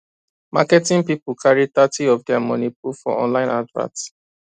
marketing people carry thirty of their money put for online advert